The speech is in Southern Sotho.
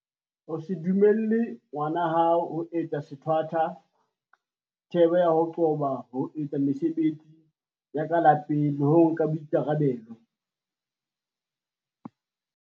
O se dumelle ngwana hao ho etsa sethwathwa thebe ya ho qoba ho etsa mese-betsi ya ka lapeng le ho nka boikarabelo.